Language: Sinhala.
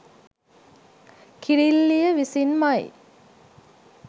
කිරිල්ලිය විසින්මයි.